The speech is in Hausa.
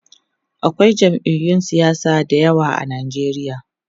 akwai jam'iyun siyasa da yawa a Nigeria